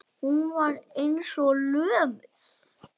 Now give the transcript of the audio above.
Hún var eins og lömuð.